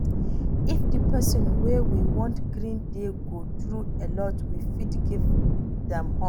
If di person wey we wan greet dey go through alot we fit give am hug